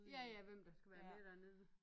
Ja ja hvem der skal være med dernede